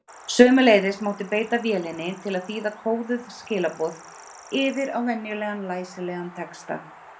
Sömuleiðis mátti beita vélinni til að þýða kóðuð skilaboð yfir á venjulegan læsilegan texta.